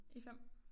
I 5